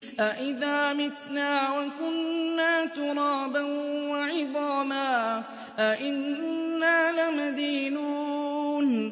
أَإِذَا مِتْنَا وَكُنَّا تُرَابًا وَعِظَامًا أَإِنَّا لَمَدِينُونَ